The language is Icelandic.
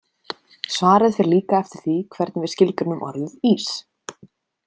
Svarið fer líka eftir því hvernig við skilgreinum orðið ís.